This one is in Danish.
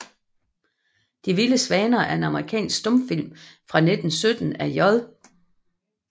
De vilde svaner er en amerikansk stumfilm fra 1917 af J